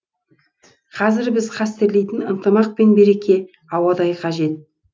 қазір біз қастерлейтін ынтымақ пен береке ауадай қажет